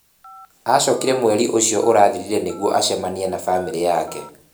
Acookire mweri ũcio ũrathirire nĩguo acemania na famĩlĩ yake.